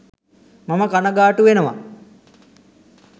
මම කණගාටු වෙනවා